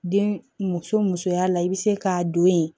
Den muso musoya la i bɛ se k'a don ye